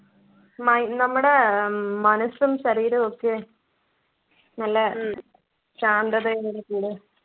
my നമ്മുടെ മനസ്സും ശരീരവുമൊക്കെ നല്ല ശാന്തത